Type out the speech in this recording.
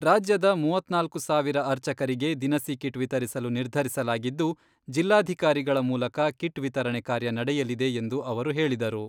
ರಾಜ್ಯದ ಮೂವತ್ನಾಲ್ಕು ಸಾವಿರ ಅರ್ಚಕರಿಗೆ ದಿನಸಿ ಕಿಟ್ ವಿತರಿಸಲು ನಿರ್ಧರಿಸಲಾಗಿದ್ದು, ಜಿಲ್ಲಾಧಿಕಾರಿಗಳ ಮೂಲಕ ಕಿಟ್ ವಿತರಣೆ ಕಾರ್ಯ ನಡೆಯಲಿದೆ ಎಂದು ಅವರು ಹೇಳಿದರು.